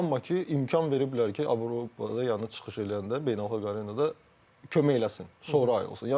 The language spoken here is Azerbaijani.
Amma ki, imkan veriblər ki, Avropada yəni çıxış eləyəndə beynəlxalq arenada kömək eləsin, sonra ayrılsın.